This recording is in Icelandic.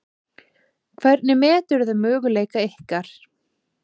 Hvernig meturðu möguleika ykkar?